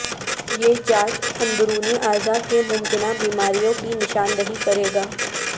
یہ جانچ اندرونی اعضاء کے ممکنہ بیماریوں کی نشاندہی کرے گا